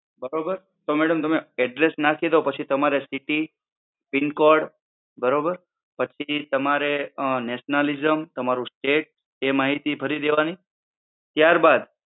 બરોબર? તો madam તમે address નાખી દો પછી તમારે city pincode બરોબર? પછી તમારે nationalism, તમારું state એ માહિતી ભરી દેવાની. ત્યારબાદ